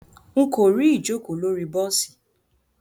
Nko ri ijoko lori bosi.